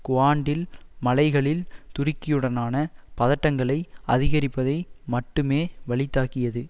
குவான்டில் மலைகளில் துருக்கியுடனான பதட்டங்களை அதிகரிப்பதை மட்டுமே வலிதாக்கியது